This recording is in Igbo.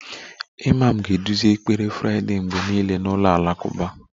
Imam ga-eduzi ekpere Friday mgbe niile n'ụlọ alakụba